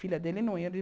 Filha dele não ia de.